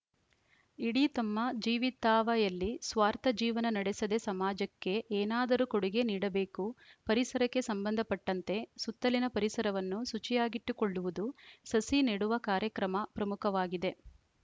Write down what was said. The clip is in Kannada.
ಇಡೀ ತಮ್ಮ ಜೀವಿತಾವಯಲ್ಲಿ ಸ್ವಾರ್ಥ ಜೀವನ ನಡೆಸದೇ ಸಮಾಜಕ್ಕೆ ಏನಾದರೂ ಕೊಡೆಗೆ ನೀಡಬೇಕು ಪರಿಸರಕ್ಕೆ ಸಂಬಂಧಪಟ್ಟಂತೆ ಸುತ್ತಲಿನ ಪರಿಸರವನ್ನು ಶುಚಿಯಾಗಿಟ್ಟುಕೊಳ್ಳುವುದು ಸಸಿ ನೆಡುವ ಕಾರ್ಯಕ್ರಮ ಪ್ರಮುಖವಾಗಿದೆ